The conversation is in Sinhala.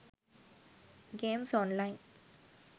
games online